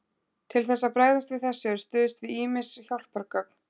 Til þess að bregðast við þessu er stuðst við ýmis hjálpargögn.